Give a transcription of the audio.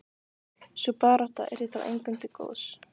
Sú barátta yrði þó engum til góðs.